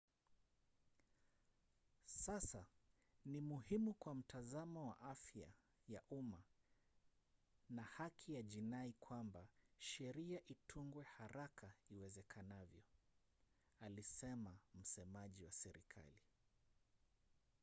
"sasa ni muhimu kwa mtazamo wa afya ya umma na haki ya jinai kwamba sheria itungwe haraka iwezekanavyo alisema msemaji wa serikali